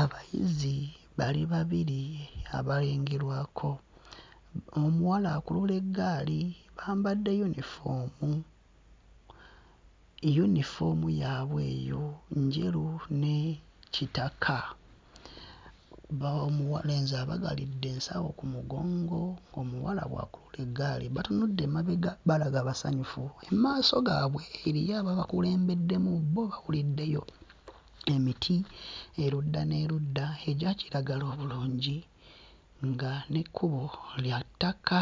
Abayizi bali babiri abalengerwako mm omuwala akulula eggaali bambadde yunifoomu. Yunifoomu yaabwe eyo njeru ne kitaka bo muwa lenzi abagalidde ensawo ku mugongo omuwala bw'akulula eggaali batunudde emabega balaga basanyufu. Mu maaso gaabwe eriyo ababakulembeddemu bo babuliddeyo emiti erudda n'erudda egya kiragala obulungi nga n'ekkubo lya ttaka